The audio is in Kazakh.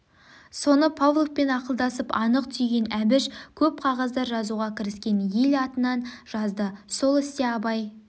соны павловпен ақылдасып анық түйген әбіш көп қағаздар жазуға кіріскен ел атынан жазды сол істе абай